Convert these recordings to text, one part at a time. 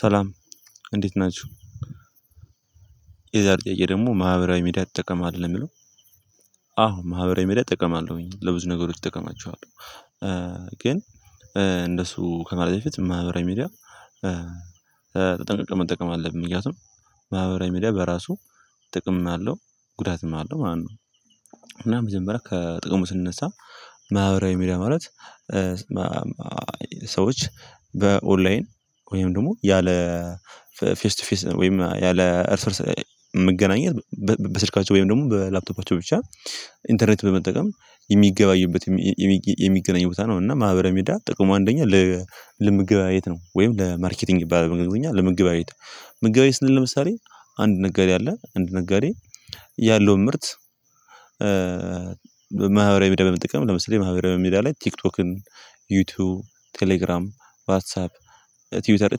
ሰላም እንዴት ናችሁ። የዛሬ ጥያቄ ደግሞ ማህበራዊ ሚዲያ ትጠቀማለህ ነው የሚለው? አዎ ማህበራዊ ሚዲያ እጠቀማለሁኝ ለብዙ ነገሮች እጠቀማችኋለሁ። ግን እንደሱ ከማለት በፊት ማህበራዊ ሚዲያ። ተጠንቅቀን መጠቀም አለብን ምክንያቱም ማህበራዊ ሚዲያ በራሱ ጥቅም አለው ጉዳትም አለው ማለት ነው። እና መጀመሪያ ከጥቅሙ ስንነሳ ማህበራዊ ሚዲያ ማለት። ሰዎች በኦንላይን ወይም ደግሞ ያለ ፌስ ቱ ፌስ ወይም ያለ እርስ እርስ መገናኘት በስልካቸው ወይም ደግሞ በላፕቶፓቸው ብቻ ኢንተርኔት በመጠቀም የሚገባዩበት የሚገናኙ ቦታ ነው። እና ማህበረ ሚዲያ ጥቅሙ አንደኛ ለመገበያየት ነው። ወይም ለማርኬቲንግ ይባላል በእንግሊዝኛ ለመገበያየት መገበያየት ስንል ለምሳሌ አንድ ነጋዴ አለ አንድ ነጋዴ ያለውን ምርት። ማህበራዊ ሚዲያ በመጠቀም ለምሳሌ ማህበራዊ ሚዲያ ላይ ቲክቶክን ዩቲዩብ ቴሌግራም ዋትሳፕ ትዊተር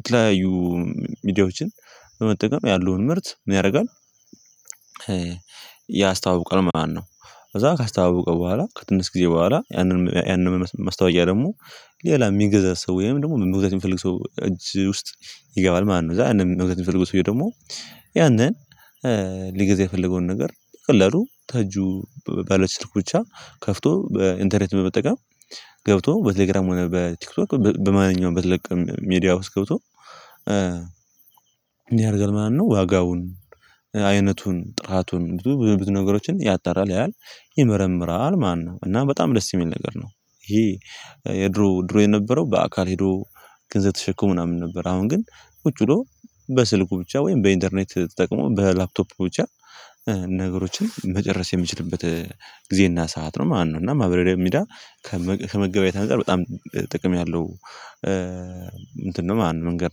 የተለያዩ ሚዲያዎችን በመጠቀም ያለውን ምርት ምን ያደርጋል ያስታዋውቃል ማለት ነው። ከዛ ካስተዋወቀ በኋላ ከትንሽ ጊዜ በኋላ ያንን ያንን መስታወቂያ ደግሞ ሌላ የሚገዛ ሰው ወይም ደግሞ መግዛት የሚፈልግ ሰው እጅ ውስጥ ይገባል ማለት ነው። ከዚያ መግዛት የሚፈልጉ ሰው ደግሞ ያንን ሊገዛ የፈለገውን ነገር በቀላሉ ከእጁ ባለች ስልኩ ብቻ ከፍቶ በኢንተርኔት በመጠቀም ገብቶ በቴሌግራም ሆነ በቲክቶክ በማንኛውም በተለቀም ሚዲያ ውስጥ ገብቶ። ምን ያደርጋል ማለት ነው ዋጋውን አይነቱን ጥራቱን ብዙ ነገሮችን ያጠራል ያያል ይመረምራል ማለት ነው። እና በጣም ደስ የሚል ነገር ነው። ይሄ የድሮ ድሮ የነበረው በአካል ሄዶ ገንዘብ ተሸክሞ ምናምን ነበር። አሁን ግን ቁጭ ብሎ በስልኩ ብቻ ወይም በኢንተርኔት ተጠቅሞ በላፕቶፕ ብቻ ነገሮችን መጨረስ የምችልበት ጊዜና ሰዓት ነው ማለት ነው። እና ማህበራዊ ሚዲያ ከመገበያየት አንፃር በጣም ጥቅም ያለው እንትን ነው መንገድ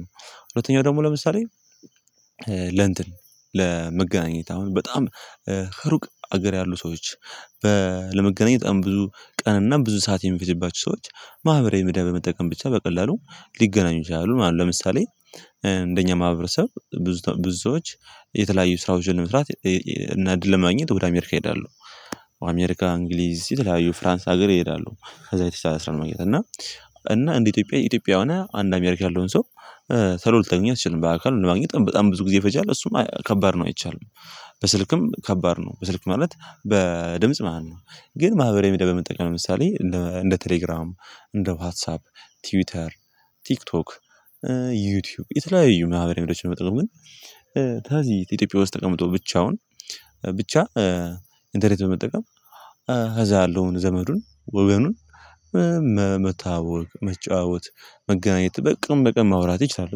ነው። ሁለተኛው ደግሞ ለምሳሌ ለእንትን ለመገናኘት አሁን በጣም ሩቅ ሀገር ያሉ ሰዎች ለመገናኘት በጣም ብዙ ቀን እና ብዙ ሰዓት የሚፈጅባቸው ሰዎች ማህበራዊ ምድብ በመጠቀም ብቻ በቀላሉ ሊገናኙ ይችላሉ ማለት ነው። ለምሳሌ እንደኛ ማህበረሰብ ብዙ ብዙዎች የተለያዩ ስራዎችን መስራት እና እድል ለማግኘት ወደ አሜሪካ ይሄዳለሁ አሜሪካ እንግሊዝ የተለያዩ ፍራንስ ሀገር ይሄዳሉ ከዛ የተሻለ ስራ ለማግኘት እና እና እንደ ኢትዮጵያ ኢትዮጵያ ሆነ አንድ አሜሪካ ያለውን ሰው ቶሎ ልተገኛው አትችልም በአካል ለማግኘት በጣም ብዙ ጊዜ ይፈጃል እሱም ከባድ ነው። አይቻልም በስልክም ከባድ ነው በስልክ ማለት በድምጽ ማለት ነው። ግን ማህበር ሚድያ በመጠቀም ለምሳሌ እንደ እንደ ቴሌግራም እንደ ዋትሳፕ ትዊተር ቲክቶክ ዩቲዩብ የተለያዩ ማህበረ ሚዲያዎችን በመጠቀም ግን ከዚህ ኢትዮጵያ ውስጥ ተቀምጦ ብቻውን ብቻ ኢንተርኔት በመጠቀም ከዛ ያለውን ዘመዱን ወገኑን መታወቅ መጫወት መገናኘት በቀን በቀን ማውራት ይቻላል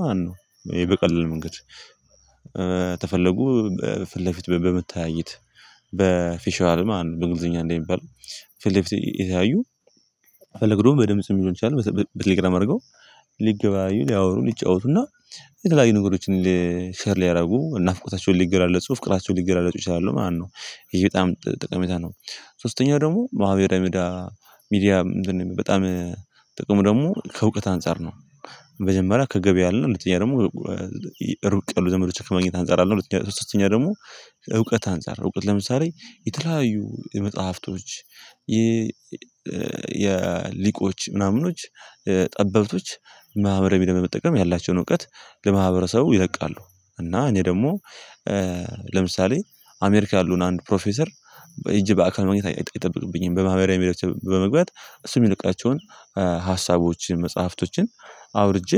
ማለት ነው። ይሄ በቀለል መንገድ ከፈለጉ ፊት ለፊት በመታየት በፊሻል ማለት በእንግሊዘኛ እንደሚባል ፊል ለፊል እየተያዩ ፈለግዶም በድምጽም ይሆን ይችላል በቴሌግራም አርገው ሊገበያዩ ሊያወሩ ሊጫወቱና የተለያዩ ነገሮችን ሼር ሊያደርጉ ናፍቆታቸውን ሊገላለጹ ፍቅራቸውን ሊገላለጹ ይችላሉ ማለት ነው። ይሄ በጣም ጠቀሜታ ነው። ሶስተኛው ደግሞ ማህበራዊ ምድያ ሚድያ ምንድነው? በጣም ጥቅሙ ደግሞ ከእውቀት አንፃር ነው። መጀመሪያ ከገበያ አለ ሁለነኛ ደግሞ ሩቅ ዘመዶች ከማግኘት አንፃር አለ። ሁለተኛ ሶስተኛ ደግሞ ከእውቀት አንፃር እውቀት ለምሳሌ የተለያዩ የመጽሐፍቶች የሊቆች ምናምኖች ጠበብቶች ማህበራዊ ሚድያ በመጠቀም ያላቸውን እውቀት ለማህበረሰቡ ይለቃሉ እና እኔ ደግሞ ለምሳሌ አሜሪካ ያለውን አንድ ፕሮፌሰር ሄጅ በአካል ማግኘት አይጠብቅብኝም በማህበራዊ ሚድያዎች በመግባት እሱ የሚለቃቸውን ሀሳቦችን መጽሐፍቶችን አውርጄ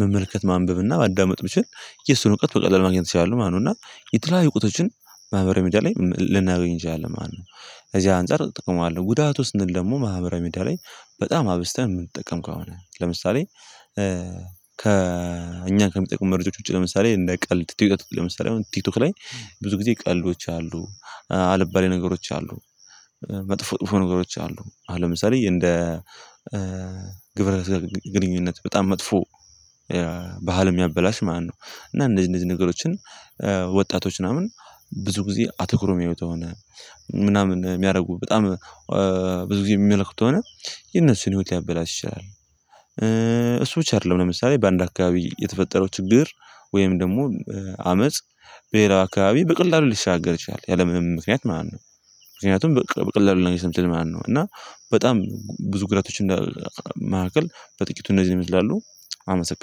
መመልከት ማንበብና ማዳመጥ ብችል የሱን እውቀት በቀላሉ ማግኘት እችላለህ ማለት ነው። እና የተለያዩ እውቀቶችን ማህበራዊ ሚዲያ ላይ ልናገኝ እንችላለን ማለት ነው። ከእዚህ አንፃር እጠቀማለሁ ጉዳቱ ስንል ደግሞ ማህበራዊ ሚድያ ላይ በጣም አብዝተን የምንጠቀም ከሆነ ለምሳሌ ከእኛ ከሚጠቅሙ መረጃዎች ውጪ ለምሳሌ እንደ ቀልድ ቲክቶክ ለምሳሌ አሁን ቲክቶክ ላይ ብዙ ጊዜ ቀልዶች አሉ አልባሌ ነገሮች አሉ መጥፎ ጥፎ ነገሮች አሉ አሁን ለምሳሌ እንደ ግብረ ስጋ ግንኙነት በጣም መጥፎ ባህልም የሚያበላሽ ማለት ነው። እና እነዚህ እነዚህ ነገሮችን ወጣቶች ምናምን ብዙ ጊዜ አትኩሮ የሚያዩት አሁን ምናምን የሚያደርጉ በጣም ብዙ ጊዜ የሚመለከቱ ከሆነ የነሱን ህይወት ሊያበላሽ ይችላል። እሱ ብቻ አይደለም ለምሳሌ በአንድ አካባቢ የተፈጠረው ችግር ወይም ደግሞ አመጽ በሌላው አካባቢ በቀላሉ ሊሻገር ይችላል ያለምንም ምክንያት ማለት ነው። ምክንያቱም በቀላሉ ነው እንነትን ስለሚል ማለት ነው። እና በጣም ብዙ ጉዳቶች እንዳል መካከል በጥቂቱ እነዚህ ይመስላሉ። አመሰግናለሁ